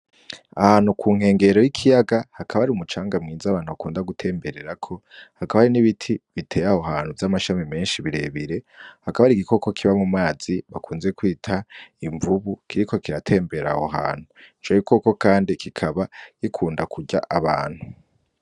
Ahantu ku nkengero y'ikiyaga hakaba hari umucanga mwiza abantu bakunda gutembererako, hakaba hari n'ibiti biteye aho hantu vy'amashami menshi bire bire. Hakaba hari igikoko kiba mu mazi bakunze kwita imvubu kiriko kiratembera aho hantu, ico gikoko kandi kikaba gikunda kurya abantu.